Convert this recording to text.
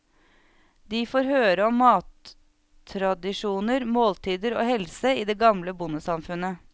De får høre om mattradisjoner, måltider og helse i det gamle bondesamfunnet.